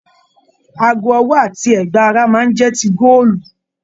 Aago ọwọ àti ẹgba ará máa n jẹ tí góòlù.